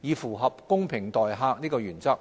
以符合"公平待客"的原則。